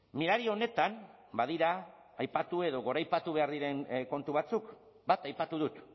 mirari honetan badira aipatu edo goraipatu behar diren kontu batzuk bat aipatu dut